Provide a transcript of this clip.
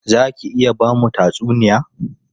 Za ki iya ba mu tatsuniya?